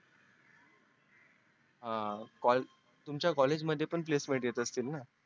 हा तुमच्या college मध्ये पण placement येत असतील ना